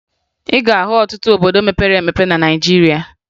Ị ga-ahụ ọtụtụ obodo mepere emepe na Naịjirịa